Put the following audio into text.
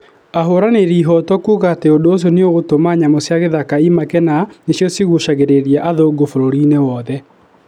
ahũranĩri ihoto kuga ati ũndũ ũcio nĩũgũtũma nyamũ cia githaka imake na nĩ cio igucagĩrĩria athũngũ bũrũri-inĩ wothe